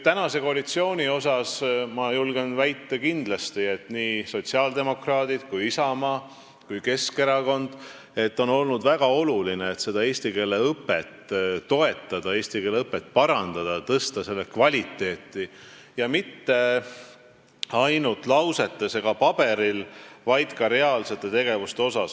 Praeguse koalitsiooni kohta ma julgen väita, et nii sotsiaaldemokraatidele kui ka Isamaale ja Keskerakonnale on olnud väga oluline eesti keele õpet toetada, parandada, tõsta selle kvaliteeti ja mitte ainult lausetes või paberil, vaid ka reaalsetes tegevustes.